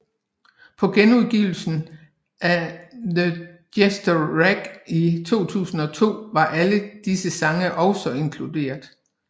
På genudgivelsen af The Jester Race i 2002 var alle disse sange også inkluderet